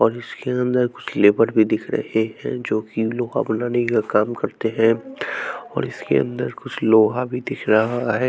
और इसके अंदर कुछ लेबर भी दिख रहे हैं जो की लोहा बनाने का काम करते हैं और इसके अंदर कुछ लोहा भी दिख रहा है।